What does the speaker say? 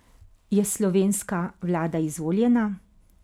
Je slovenska vlada izvoljena?